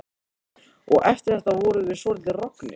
Og eftir þetta vorum við svolítið roggnir.